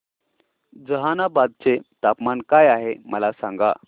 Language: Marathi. जहानाबाद चे तापमान काय आहे मला सांगा